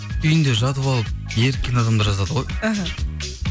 үйінде жатып алып еріккен адамдар жазады ғой іхі